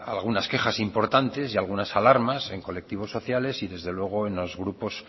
algunas quejas importantes y algunas alarmas en colectivos sociales y desde luego en los grupos